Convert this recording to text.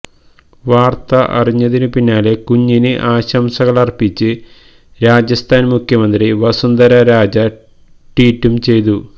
വാര്ത്ത അറിഞ്ഞതിനു പിന്നാലെ കുഞ്ഞിന് ആശംസകളര്പ്പിച്ച് രാജസ്ഥാന് മുഖ്യമന്ത്രി വസുന്ധര രാജ ട്വീറ്റും ചെയ്തു